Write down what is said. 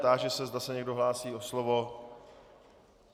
Táži se, zda se někdo hlásí o slovo.